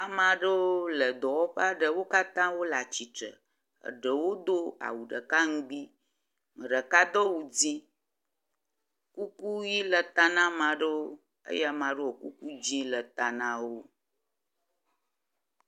Ame aɖewo le dɔwɔƒe aɖe. Wo katã wole atsitre. Eɖewo do awu ɖeka ŋugbi. Ame ɖeka do awu dzɛ̃, kuku ʋi le ta ne ame aɖewo eye ame aɖewo kuku dzɛ̃ le ta na wo.